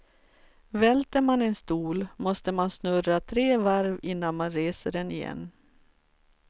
Välter man en stol, måste man snurra tre varv innan man reser den igen.